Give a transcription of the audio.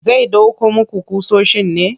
Zai ɗauko muku ƙusoshin ne?